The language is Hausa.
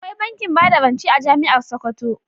Akwai bankin bada rance a jami'ar Sokoto.